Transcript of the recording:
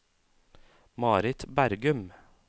Marit Bergum